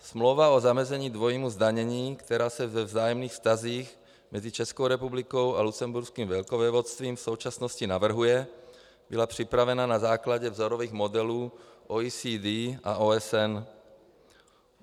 Smlouva o zamezení dvojímu zdanění, která se ve vzájemných vztazích mezi Českou republikou a Lucemburským velkovévodstvím v současnosti navrhuje, byla připravena na základě vzorových modelů OECD a OSN.